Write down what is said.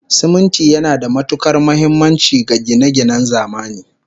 Siminti yana da matukar muhimmanci ga gine-ginen zamani